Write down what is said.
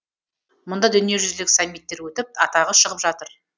мұнда дүниежүзілік саммиттер өтіп атағы шығып жатыр